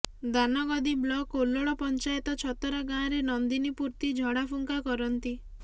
Danagadi block ଓଲ୍ଲଳ ପଞ୍ଚାୟତ ଛତରା ଗାଁରେ ନନ୍ଦିନୀ ପୂର୍ତ୍ତି ଝଡ଼ାଫୁଙ୍କା କରନ୍ତି